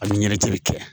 Hali ɲɛti bi kɛ